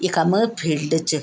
इखम फील्ड च।